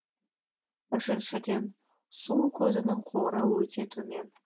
үшіншіден су көзінің қоры өте төмен